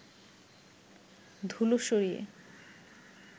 ধুলো সরিয়ে